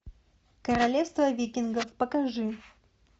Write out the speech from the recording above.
королевство викингов покажи